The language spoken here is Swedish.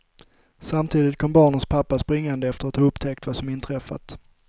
Samtidigt kom barnens pappa springande efter att ha upptäckt vad som inträffat.